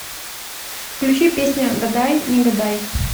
включи песня гадай не гадай